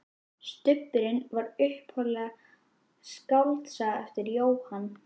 Stubburinn var upphaflega skáldsaga eftir Jóhann